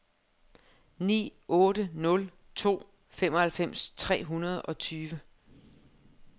ni otte nul to femoghalvfems tre hundrede og tyve